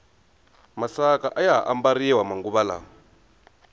masaka ayaha ambariwa manguva lawa